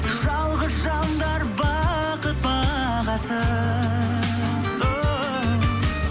жалғыз жандар бақыт бағасын оу